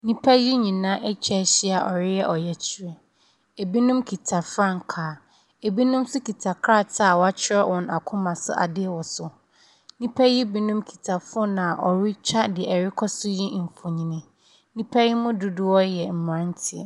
Nnipa yi nyinaa atwa ahyia a wɔreyɛ ɔyɛkyerɛ. Binom kita frankaa. Binom nso kita krataa wɔatwerɛ wɔn akoma so adeɛ wɔ so. Nnipa yi binom kita phone a wɔretwa deɛ ɛrekɔ so yi mfonin. Nnipa yi mu dodoɔ yɛ mmeranteɛ.